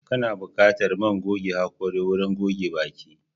Kana buƙatar man goge haƙora wurin goge baki.